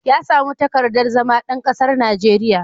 Ya samu takardar zama ɗan kasar Najeriya.